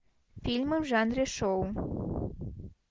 фильмы в жанре шоу